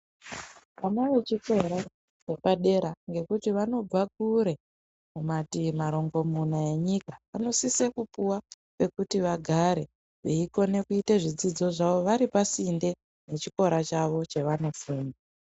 Vana vechikora chepadera nekuti vanobva kure kumativi marongomuna enyika vanosisa kupuwa pekuti vagare veikona kuita zvidzidzo zvavo vari pasinde nechikora chawo chavanofunda.